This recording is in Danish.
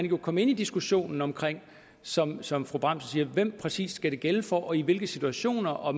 jo komme ind i diskussionen om som som fru bramsen siger hvem det præcis skal gælde for og i hvilke situationer og